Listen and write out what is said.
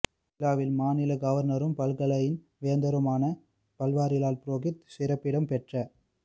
விழாவில் மாநில கவர்னரும் பல்கலையின் வேந்தருமான பன்வாரிலால் புரோஹித் சிறப்பிடம் பெற்ற